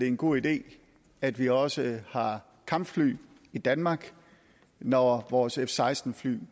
en god idé at vi også har kampfly i danmark når vores f seksten fly